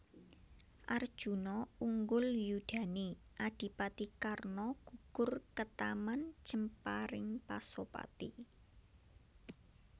Arjuna unggul yudhane Adipati Karna gugur ketaman jemparing Pasopati